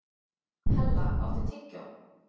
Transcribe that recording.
Hella, áttu tyggjó?